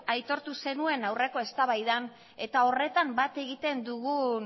aitortu zenuen aurreko eztabaidan eta horretan bat egiten dugu